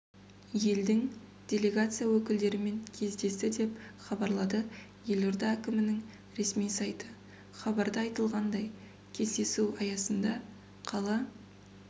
елдің делегация өкілдерімен кездесті деп хабарлады елорда әкімінің ресми сайты хабарда айтылғандай кездесу аясында қала